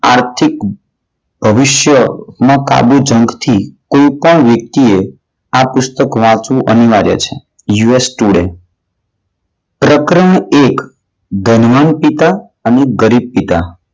આર્થિક ભવિષ્યમાં પ્રાબુ ઝંખથી કોઈ પણ વ્યક્તિએ આ પુસ્તક વાંચવું અનિવાર્ય છે US today પ્રકરણ એક ધનવાન પિતા અને ગરીબ પિતા.